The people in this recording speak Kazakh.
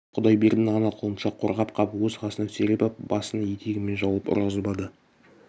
жалғыз құдайбердіні ғана құлыншақ қорғап қап өз қасына сүйреп ап басын етегімен жауып ұрғызбады